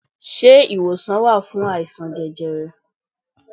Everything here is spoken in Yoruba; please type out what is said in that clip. Se iwosan wa fun aisan jẹjẹrẹ?